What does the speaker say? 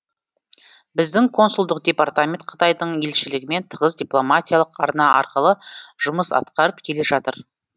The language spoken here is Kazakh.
біздің консулдық департамент қытайдың елшілігімен тығыз дипломатиялық арна арқылы жұмыс атқарып келе жатыр